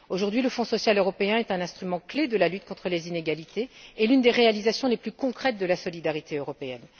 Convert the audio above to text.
Aujourd'hui, le Fonds social européen est un instrument clé de la lutte contre les inégalités et l'une des réalisations les plus concrètes de la solidarité européenne.